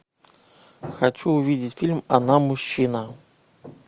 хочу увидеть фильм она мужчина